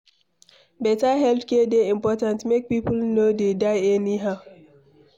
Better healthcare dey important make people no dey die anyhow.